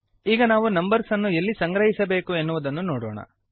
ಈಗ ನಾವು ನಂಬರ್ಸ್ ಅನ್ನು ಎಲ್ಲಿ ಸಂಗ್ರಹಿಸಬೇಕು ಎನ್ನುವುದನ್ನು ನೋಡೋಣ